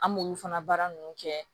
An b'olu fana baara nunnu kɛ